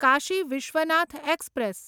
Kashi Vishwanath express